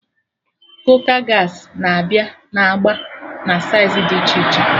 Kooka gaasị na-abịa na agba na saiz dị iche iche